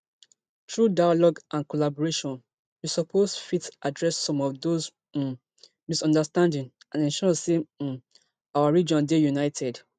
through dialogue and collaboration we suppose fit address some of those um misunderstanding and ensure say um our region dey united